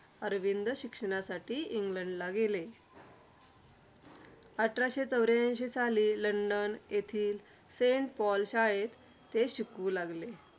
अरविंद शिक्षणासाठी इंग्लंडला गेले. अठराशे चौऱ्यांशी साली लंडन येथील सेंट पॉल शाळेत ते शिकू लागले.